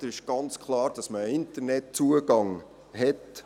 Es ist ganz klar, dass man Internetzugang hat.